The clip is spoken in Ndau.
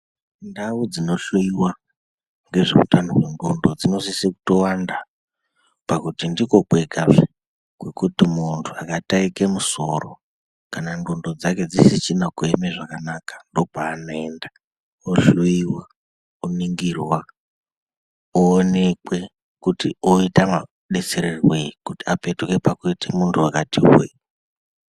Ndau dzinohloiwa ngezveutano hwendxondo dzinosise kutowanda pakuti ndikwo kwegazve kwekuti muntu akataike musoro kana ndxondo dzake dzisisina kuema zvakanaka ndo kwaanoenda ohloiwa, oningirwa oonekwa kuti oitwa madetsererwei kuti apetuke kuite muntu wakati hwee.